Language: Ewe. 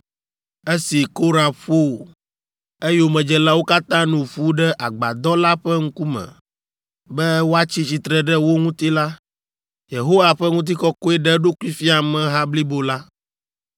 Esi Korah ƒo eyomedzelawo katã nu ƒu ɖe Agbadɔ la ƒe ŋkume be woatsi tsitre ɖe wo ŋuti la, Yehowa ƒe ŋutikɔkɔe ɖe eɖokui fia ameha blibo la.